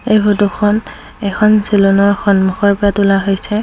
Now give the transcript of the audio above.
এই ফটোখন এখন চেলুনৰ সন্মুখৰ পৰা তোলা হৈছে।